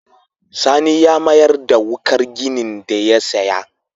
Sani ya mayar da wuƙar ginin da ya saya.